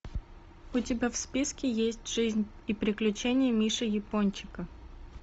у тебя в списке есть жизнь и приключения миши япончика